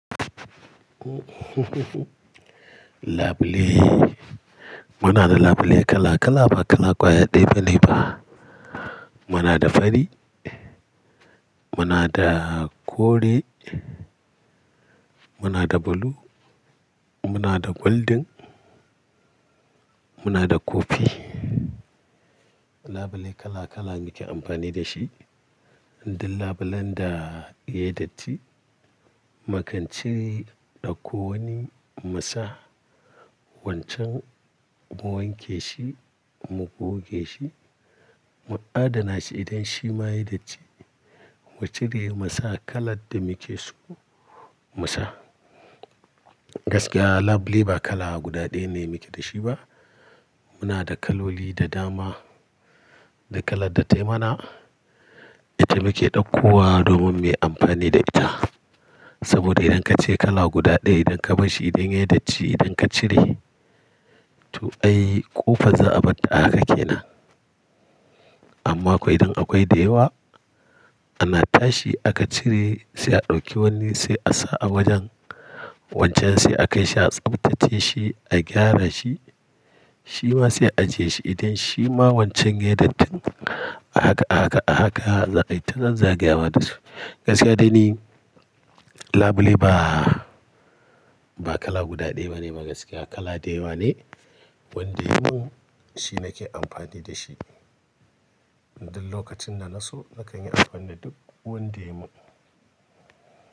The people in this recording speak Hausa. Labule, muna da labule kala kala, ba kala kwaya ɗaya ba, ne ba. Muna da fari, muna da kore, muna da blue, muna da goldin, muna da kofi. Labule kala kala muke amfani da shi. Dun labulen da yai datti, makan ce ɗauko wani mu sa wancan, mu wanke shi, mu goge shi, mu adana shi idan shi ma yai datti. Mu cire mu sa kalad da muke so mu sa. Gaskiya labule ba kala guda ɗaya ne muke da shi ba. Muna da kaloli da dama, da kalad da tai mana, ita muke ɗauko wa domin muyi amfani da ita. Saboda idan kace kala guda ɗaya, idan ka bashshi idan yai datti, idan ka cire, to ai ƙofai za'a batta a haka kenan. Amma kuwa idan akwai da yawa, ana tashi aka cire, sai a ɗauki wanni sai a sa a wajen wancan sai akaishi a tsaftace shi, a gyara shi, shi ma sai a je shi idan shima wancan yai dattin a haka, a haka, a haka, zai ai ta zagaya wa da su. Gaskiya dai ni labule ba, ba kala guda ɗaya bane ba gaskiya, kala da yawa ne. Wanda yuwu shi nake amfani da shi. Idan lokacin da naso nakan yi amfani da duk wanda yuwu.